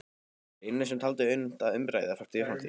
Lenu sem taldi unnt að umbreyta fortíð í framtíð.